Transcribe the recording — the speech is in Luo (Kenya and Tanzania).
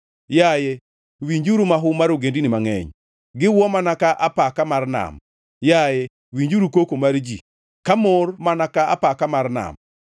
Yaye, winjuru mahu mar ogendini mangʼeny, giwuo mana ka apaka mar nam! Yaye, winjuru koko mar ji, ka gimor mana ka apaka mar nam!